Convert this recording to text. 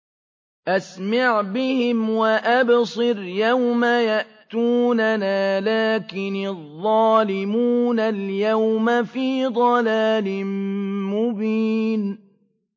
أَسْمِعْ بِهِمْ وَأَبْصِرْ يَوْمَ يَأْتُونَنَا ۖ لَٰكِنِ الظَّالِمُونَ الْيَوْمَ فِي ضَلَالٍ مُّبِينٍ